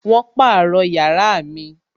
Wón pàrọ̀ yàrá mi